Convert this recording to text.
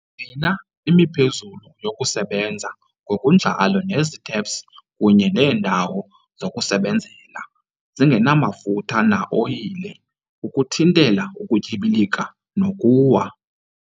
Gcina imiphezulu yokusebenza ngokunjalo nezitephs kunye neendawo zokusebenzela zingenamafutha na-oyile ukuthintela ukutyibilika nokuwa.